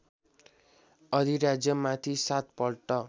अधिराज्यमाथि सात पल्ट